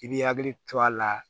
I bi hakili to a la